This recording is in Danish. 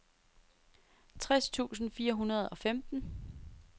tres tusind fire hundrede og femten